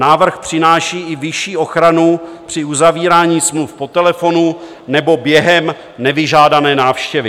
Návrh přináší i vyšší ochranu při uzavírání smluv po telefonu nebo během nevyžádané návštěvy.